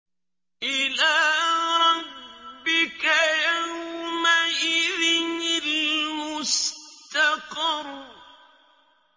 إِلَىٰ رَبِّكَ يَوْمَئِذٍ الْمُسْتَقَرُّ